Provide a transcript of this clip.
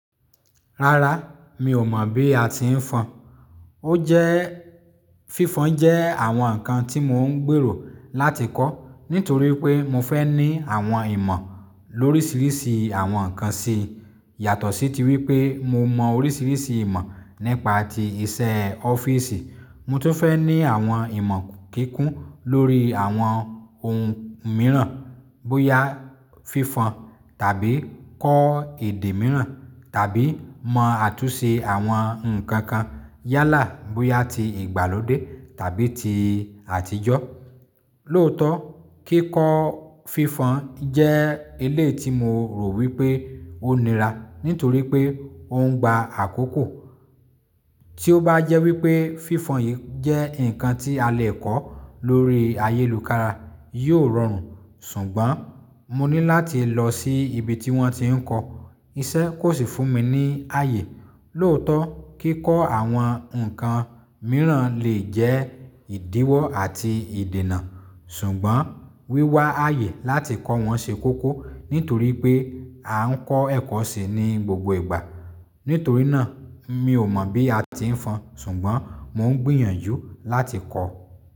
Rárá, mi ò mọ̀ bí a ti ń fọn. Ó jẹ́ fífan jẹ́ àwọn nǹkan tí mò ń gbèrò láti kọ́ nítorí pé mo fẹ́ ní àwọn ìmọ̀ lóríṣìíríṣìí àwọn nǹkan sí, yàtọ̀ sí tí wípé mo mọ orísìírísìí ìmọ̀ nípa ti iṣẹ́ ọ́fíìsì. Mo tó fẹ́ ní àwọn ìmọ̀ kíkún lórí àwọn ohun mìíràn bóyá fífan tàbí kọ́ èdè mìíràn tàbí mọ àtúnṣe àwọn nǹkan kan yálà bóyá ti ìgbàlódé tàbí ti àtijọ́. Lóòótọ́, kíkọ́ fífan jẹ́ elé ti mo rò wípé ó nira nítorí pé ó ń gba àkókò. Tí ó bá jẹ́ wípé fífan yìí jẹ́ ǹkan tí a lè kọ́ lórí ayélujára, yóò rọrùn. Ṣùgbọ́n mo ní láti lọ sí ibi tí wọ́n ti ń kọ́, iṣẹ́ kò sì fún mi ní ààyè. Lóòótọ́, kíkọ́ àwọn nǹkan mìíràn lè jẹ́ ìdíwọ́ àti ìdènà. Ṣùgbọ́n wíwá ààyè láti kọ́ wọn ṣe kókó nítorí pé a ń kọ́ ẹ̀kọ́ síi ní gbogbo ìgbà. Nítorí náà, mi ò mọ̀ bí a ti ń fọn, ṣùgbọ́n mò ń gbìyànjú láti kọ́.